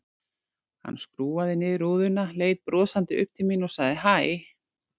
Hann skrúfaði niður rúðuna, leit brosandi upp til mín og sagði hæ.